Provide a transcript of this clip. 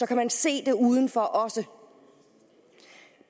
kan man se det udenfor også